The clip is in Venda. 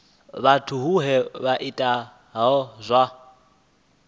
vhathu vhohe vha itaho zwa